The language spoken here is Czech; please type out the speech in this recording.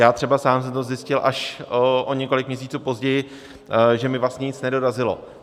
Já třeba sám jsem to zjistil až o několik měsíců později, že mi vlastně nic nedorazilo.